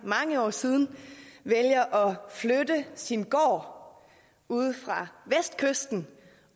mange år siden vælger at flytte sin gård ude fra vestkysten